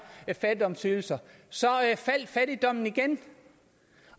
fattigdomsydelser så faldt fattigdommen igen